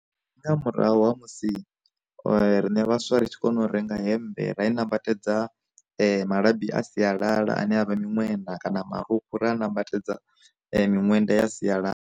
Ndi nga murahu ha musi, rine vhaswa ri tshi kona u renga hemmbe ra i nambatedza malabi a sialala ane avha miṅwenda, kana marukhu, ri a nambatedza miṅwenda ya sialala.